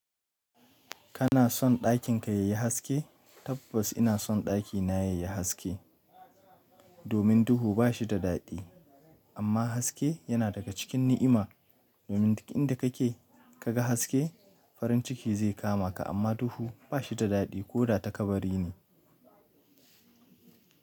Kana son ɗakin ka yayi haske? Tabbas ina son ɗakina yayi haske. Domin duhu ba shi da daɗi amma haske yana daga cikin ni'ima. Domin inda kake kaga haske farin ciki zai kama ka amma duhu ba shi da daɗi ko da ta kabari ne.